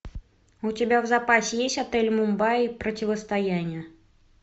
у тебя в запасе есть отель мумбаи противостояние